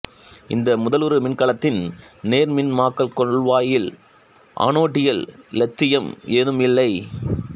இந்த முதலுரு மின்கலத்தில் நேர்மின்மக் கொள்வாயில் ஆனோடில் இலித்தியம் ஏதும் இல்லை